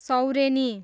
Saureni